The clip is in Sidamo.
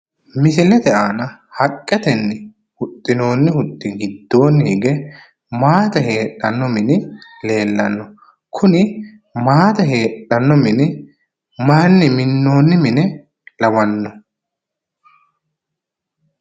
Misilete aana haqqetenni huxxinoonni huxxi giddoonni hige maate heedhanno mini leellanno, kuni maate heedhanno mini mayiinni minoonni mine lawanno?